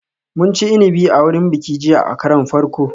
Mun ci inabi a wurin bikin jiya a karon farko